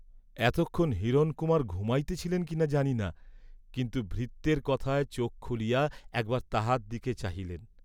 এতক্ষণ হিরণকুমার ঘুমাইতেছিলেন কি না জানিনা, কিন্তু ভৃত্যের কথায় চোখ খুলিয়া একবার তাহার দিকে চাহিলেন।